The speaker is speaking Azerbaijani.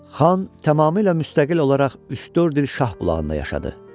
Xan tamamilə müstəqil olaraq üç-dörd il Şahbulaqda yaşadı.